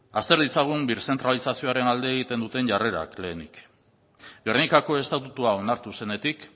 azter ditzagun birzentralizazioaren alde egiten duten jarrerak lehenik gernikako estatutua onartu zenetik